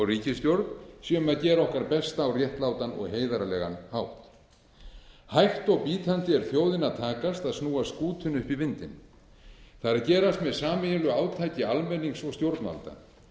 ríkisstjórn séum að gera okkar besta á réttlátan og heiðarlegan hátt hægt og bítandi er þjóðinni að takast að snúa skútunni upp í vindinn það er að gerast með sameiginlegu átaki almennings og stjórnvalda